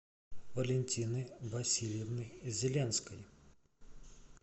валентины васильевны зеленской